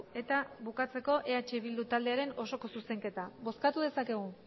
eta bukatzeko eh bildu taldearen osoko zuzenketa bozkatu dezakegu